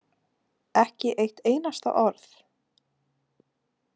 Ekki eitt einasta orð.